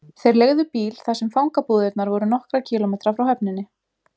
Þeir leigðu bíl þar sem fangabúðirnar voru nokkra kílómetra frá höfninni.